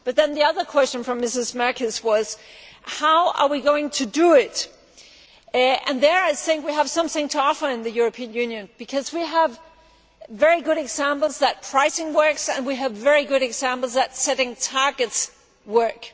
The other question from Mrs Merkies was how we are going to do it. There, I think we have something to offer in the European Union, because we have very good examples that pricing works and we have very good examples that setting targets works.